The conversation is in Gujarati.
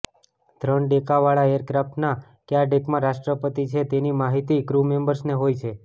ત્રણ ડેકવાળા એરક્રાફ્ટના કયા ડેકમાં રાષ્ટ્રપતિ છે તેની માહિતી ક્રૂ મેમ્બર્સને હોય છે